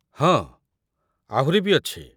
ହଁ, ଆହୁରି ବି ଅଛି ।